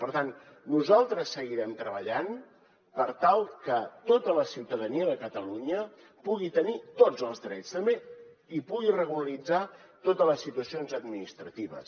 per tant nosaltres seguirem treballant per tal que tota la ciutadania de catalunya pugui tenir tots els drets i pugui regularitzar totes les situacions administratives